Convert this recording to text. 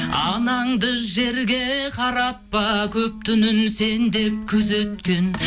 анаңды жерге қаратпа көп түнін сен деп күзеткен